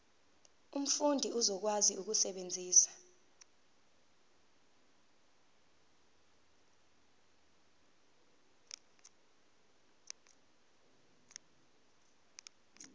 umfundi uzokwazi ukusebenzisa